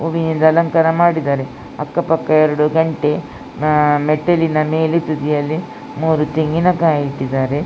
ಹೂವಿನಿಂದ ಅಲಂಕಾರ ಮಾಡಿದ್ದಾರೆ. ಅಕ್ಕ ಪಕ್ಕ ಎರಡು ಗಂಟೆ ಆಂ ಮೆಟ್ಟಿಲಿನ ಮೇಲೆ ತುದಿಯಲ್ಲಿ ಮೂರು ತೆಂಗಿನ ಕಾಯಿ ಇಟ್ಟಿದ್ದಾರೆ.